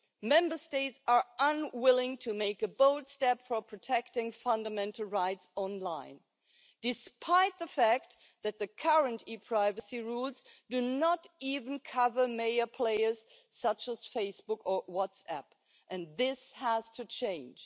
Member States are unwilling to make a bold step towards protecting fundamental rights online, despite the fact that the current e-privacy rules do not even cover main players such as Facebook or WhatsApp, and this has to change.